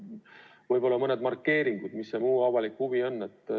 Võib-olla mõni markeering, mis see muu avalik huvi on.